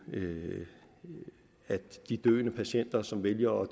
med at de døende patienter som vælger